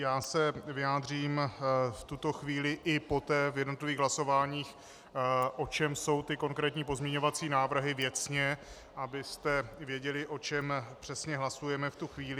Já se vyjádřím v tuto chvíli i poté při jednotlivých hlasováních, o čem jsou ty konkrétní pozměňovací návrhy věcně, abyste věděli, o čem přesně hlasujeme v tu chvíli.